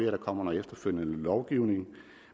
at der kommer noget efterfølgende lovgivning